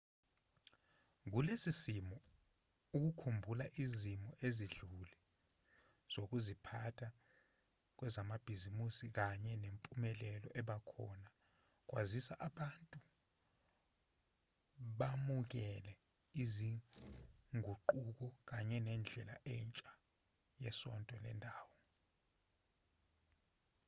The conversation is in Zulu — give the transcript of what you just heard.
kulesi simo ukukhumbula izimo ezidlule zokuziphatha kwezamabhizinisi kanye nempumelelo ebakhona kwasiza abantu bamukele izinguquko kanye nendlela entsha yesonto lendawo